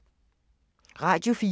Radio 4